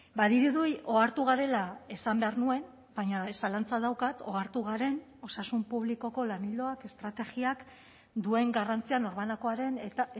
badirudi ohartu garela esan behar nuen baina zalantza daukat ohartu garen osasun publikoko lan ildoak estrategiak duen garrantzia norbanakoaren eta